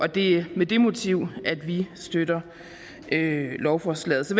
det er med det motiv at vi støtter lovforslaget så